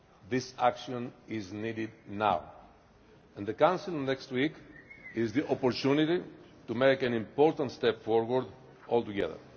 This action is needed now, and the Council next week is the opportunity to make an important step forward all together.